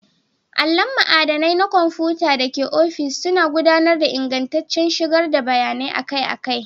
Allon madannai na kwamfuta da ke ofis suna gudanar da ingantaccen shigar da bayanai akai-akai.